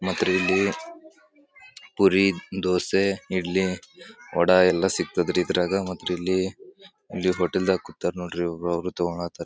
ಮತ್ರಿ ಇಲ್ಲಿ ಪುರಿ ದೋಸೆ ಇಡ್ಲಿ ವಡ ಎಲ್ಲ ಸಿಗ್ತದರಿ ಇದ್ರಾಗ ಮತ್ತೆ ಇಲ್ಲಿ ಹೋಟೆಲ್ ದಾಗ ಕುತರ್ ನೋಡ್ರಿ ಇವರು ಹೋಗಿ ತಗೊಂತರ.